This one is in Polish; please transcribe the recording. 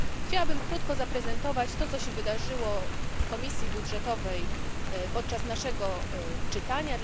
Chciałabym krótko zaprezentować to, co się wydarzyło w Komisji Budżetowej podczas naszego czytania.